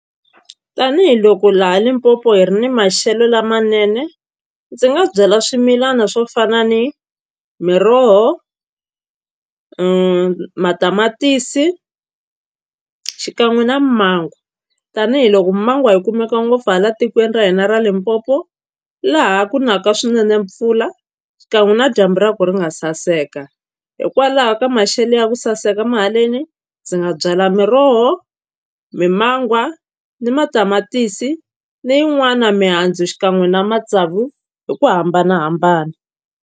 Tanihiloko laha Limpopo hi ri ni maxelo lamanene ndzi nga byala swimilana swo fana ni miroho, matamatisi xikan'we na mango tanihiloko mangwa yi kumeka ngopfu hala tikweni ra hina ra Limpopo laha ku naka swinene mpfula xikan'we na dyambu ra ko ri nga saseka hikwalaho ka maxelo ya ku saseka ma haleni ndzi nga byala miroho, mimangwa ni matamatisi ni yin'wana mihandzu xikan'we na matsavu hi ku hambanahambana.